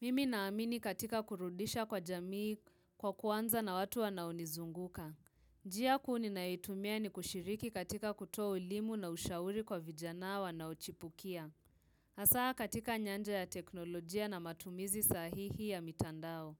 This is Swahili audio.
Mimi naamini katika kurudisha kwa jamii kwa kuanza na watu wanaonizunguka. Njia kuu ninayoitumia ni kushiriki katika kutoa elimu na ushauri kwa vijana wanaochipukia. Hasaa katika nyanja ya teknolojia na matumizi sahihi ya mitandao.